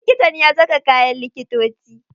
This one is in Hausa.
Likitan ya saka kayan likitoci.